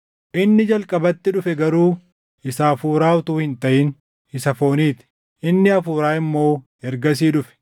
Inni jalqabatti dhufe garuu isa hafuuraa utuu hin taʼin isa foonii ti; inni hafuuraa immoo ergasii dhufe.